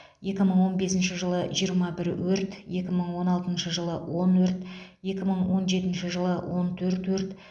екі мың он бесінші жылы жиырма бір өрт екі мың он алтыншы жылы он өрт екі мың он жетінші жылы он төрт өрт